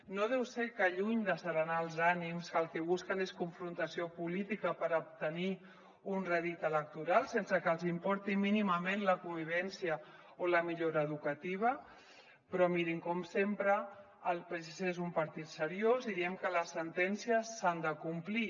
no deu ser que lluny d’asserenar els ànims el que busquen és confrontació política per obtenir un rèdit electoral sense que els importi mínimament la convivència o la millora educativa però mirin com sempre el psc és un partit seriós i diem que les sentències s’han de complir